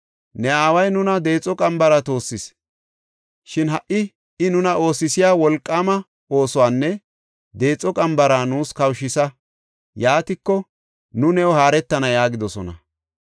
“Ne aaway nuna deexo qambara toossis; shin ha77i I nuna oosisiya wolqaama oosuwanne deexo qambara nuus kawushisa; yaatiko, nu new haaretana” yaagidosona.